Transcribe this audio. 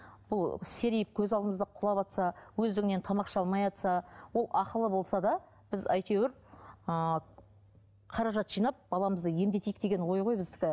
бұл серейіп көз алдымызда құлаватса өздігінен тамақ іше алмай ол ақылы болса да біз әйтеуір ыыы қаражат жинап баламызды емдетейік деген ой ғой біздікі